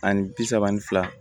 Ani bi saba ani fila